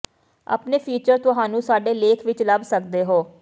ਆਪਣੇ ਫੀਚਰ ਤੁਹਾਨੂੰ ਸਾਡੇ ਲੇਖ ਵਿੱਚ ਲੱਭ ਸਕਦੇ ਹੋ